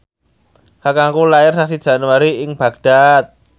kakangku lair sasi Januari ing Baghdad